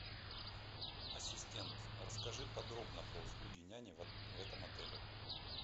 ассистент расскажи подробно про услуги няни в этом отеле